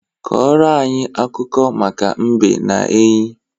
Kọrọ anyị akụkọ maka mbe na enyí.